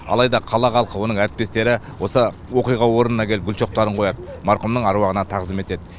алайда қала халқы оның әріптестері осы оқиға орнына келіп гүл шоқтарын қояды марқұмның аруағына тағзым етеді